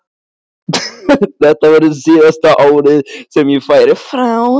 Þetta verður síðasta árið sem ég færi frá.